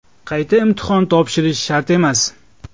Qayta imtihon topshirish shart emas.